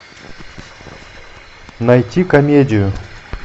найти комедию